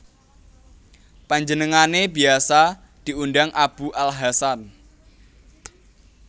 Panjenengane biasa diundang Abu al Hasan